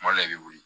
Kuma dɔ la i bɛ wuli